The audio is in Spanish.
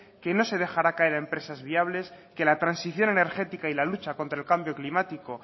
que no se dejar caer a empresas viables que la transición energética y la lucha contra el cambio climático